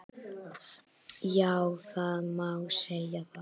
Já það má segja það.